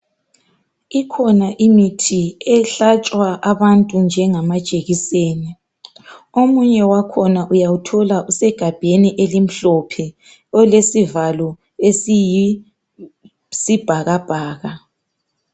Ikhona imithi ehlatshwa abantu njengamajekiseni, omunye wakhona uyawuthola usegabheni elimhlophe olesivalo esiyisibhakabhaka.